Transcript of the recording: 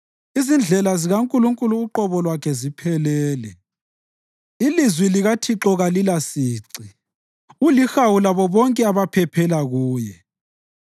Izindlela zikaNkulunkulu uqobo lwakhe ziphelele; ilizwi likaThixo kalilasici. Ulihawu labo bonke abaphephela kuye.